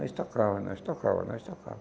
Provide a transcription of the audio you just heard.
Nós tocava, nós tocava, nós tocava.